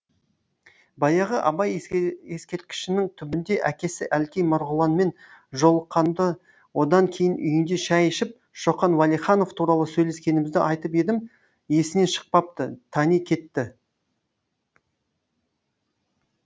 баяғы абай ескерткішінің түбінде әкесі әлкей марғұланмен жолыққанымды одан кейін үйінде шай ішіп шоқан уәлиханов туралы сөйлескенімізді айтып едім есінен шықпапты тани кетті